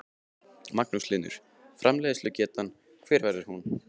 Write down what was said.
Magnús Hlynur: Og framleiðslugetan hver verður hún?